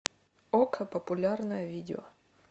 окко популярное видео